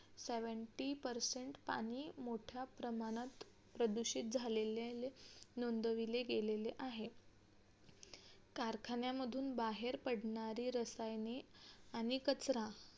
seventy percent पाणी मोठ्या प्रमाणात प्रदूषित झालेले नोंदविले गेलेले आहेत कारखान्यामधून बाहेर पडणारे रसायने आणि कचरा